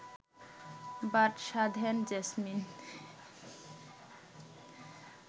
বাদ সাধেন জেসমিন